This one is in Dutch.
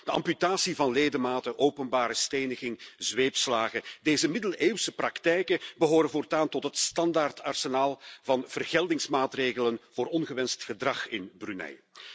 De amputatie van ledematen, openbare steniging, zweepslagen deze middeleeuwse praktijken behoren voortaan tot het standaardarsenaal van vergeldingsmaatregelen voor ongewenst gedrag in Brunei.